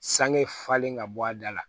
Sange falen ka bɔ a da la